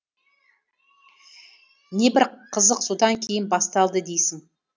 небір қызық содан кейін басталды дейсің